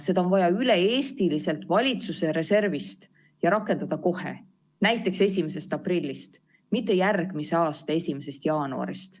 Seda on vaja üle-eestiliselt valitsuse reservist ja rakendada kohe, näiteks 1. aprillist, mitte järgmise aasta 1. jaanuarist.